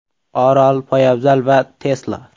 Orol, poyabzal va Tesla.